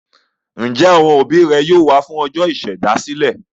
Ǹjẹ́ àwọn òbí rẹ yóò wá fún ọjọ́ ìṣèdásílẹ̀?